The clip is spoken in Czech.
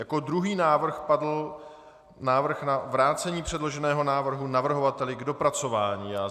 Jako druhý návrh padl návrh na vrácení předloženého návrhu navrhovateli k dopracování.